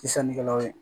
Sannikɛlaw ye